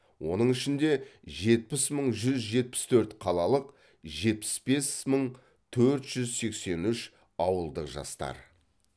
оның ішінде жетпіс мың жүз жетпіс төрт қалалық жетпісбес мың төрт жүз сексен үш ауылдық жастар